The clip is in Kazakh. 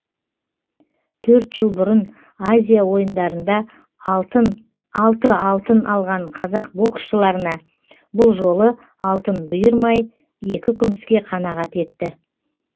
төрт жыл бұрын азия ойындарында алты алтын алған қазақ боксшыларына бұл жолы алтын бұйырмай екі күміске қанағат етті